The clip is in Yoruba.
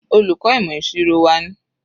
Olùkọ́ ìmọ̀ ìṣirò wa ni.